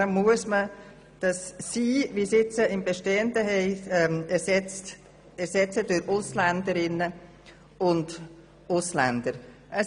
Das «Sie» im bestehenden Absatz muss folglich durch «Ausländerinnen und Ausländer» ersetzt werden.